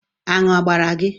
Anụ abara gị?